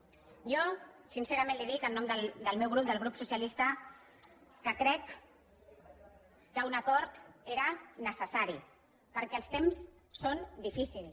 jo sincerament li ho dic en nom del meu grup del grup socialista crec que un acord era necessari perquè els temps són difícils